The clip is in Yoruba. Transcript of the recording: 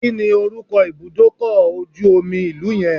Kí ni orúkọ ibùdókọ̀ ojú omi ìlú yẹn?